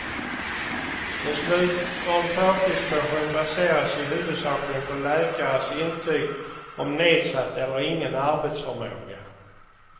Beslut om förtidspension baserar sig huvudsakligen på läkares intyg om nedsatt eller ingen arbetsförmåga.